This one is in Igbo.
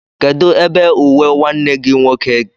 Kedu ebe uwe nwanne gi nwoke gị di?